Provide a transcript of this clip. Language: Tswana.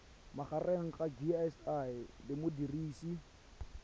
magareng ga gcis le modirisi